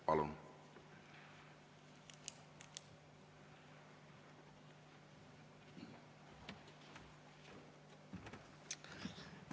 Palun!